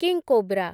king cobra